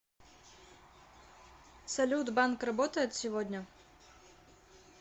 салют банк работает сегодня